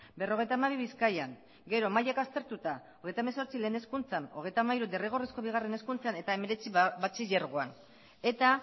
berrogeita hamabi bizkaian gero mailak aztertuta hogeita hamabost lehen hezkuntzan hogeita hamaika derrigorrezko bigarren hezkuntzan eta hemeretzi batxilergoan eta